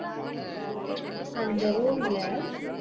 அந்த room ல